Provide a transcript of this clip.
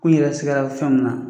K'u yɛrɛ sigara fɛn min na.l